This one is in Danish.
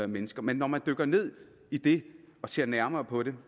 mennesker men når man dykker ned i det og ser nærmere på det